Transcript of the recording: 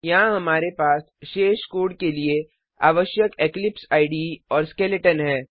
यहाँ हमारे पास शेष कोड के लिए आवश्यक इक्लिप्स इडे और स्केलेटन है